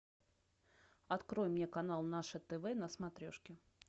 открой мне канал наше тв на смотрешке